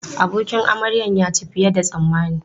Abokin amaryan ya ci fiye da yadda tsammani.